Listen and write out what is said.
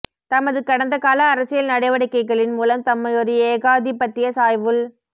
தமது கடந்த கால அரசியல் நடவடிக்கைகளின் மூலம் தம்மையொரு ஏகாதிபத்தியச் சாய்வுள்